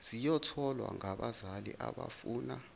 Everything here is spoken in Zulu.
ziyothwalwa ngabazali abafuna